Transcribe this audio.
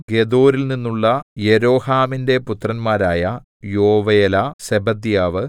ഗെദോരിൽനിന്നുള്ള യെരോഹാമിന്റെ പുത്രന്മാരായ യോവേലാ സെബദ്യാവ്